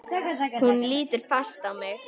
Hún lítur fast á mig.